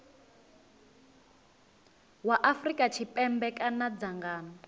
wa afrika tshipembe kana dzangano